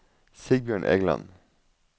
Sigbjørn Egeland